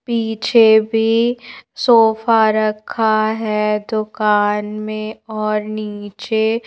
पीछे भी सोफा रखा है दुकान में और नीचे--